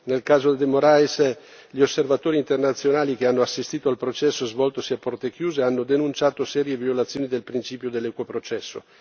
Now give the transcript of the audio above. Nel caso de Morais, gli osservatori internazionali che hanno assistito al processo svoltosi a porte chiuse hanno denunciato serie violazioni del principio dell'equo processo.